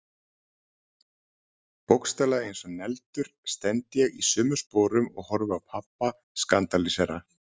Bókstaflega eins og negldur stend ég í sömu sporum og horfi á pabba skandalísera.